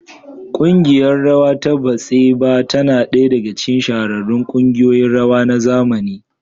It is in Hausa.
ƙungiyar rawa ta Batsheva tana ɗaya daga cikin shahararrun kungiyoyin rawa na zamani.